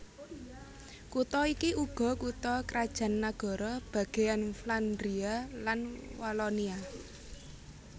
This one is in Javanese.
Kutha iki uga kutha krajan nagara bagèyan Flandria lan Walonia